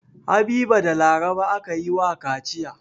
Habiba da Laraba aka yi wa kaciya.